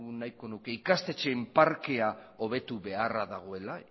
nahiko nuke ikastetxeen parkea hobetu beharra dagoela